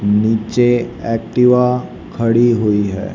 नीचे एक्टिवा खड़ी हुई है।